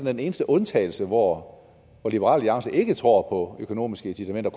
den eneste undtagelse hvor liberal alliance ikke tror på økonomiske incitamenter